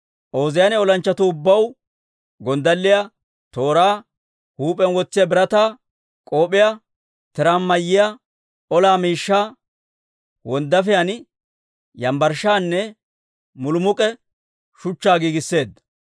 Ooziyaane olanchchatuu ubbaw gonddalliyaa, tooraa, huup'iyaan wotsiyaa birataa k'op'iyaa, tiraan mayiyaa ola miishshaa, wonddaafiyaan, yambbarshshaanne mulumuk'k'e shuchchaa giigisseedda.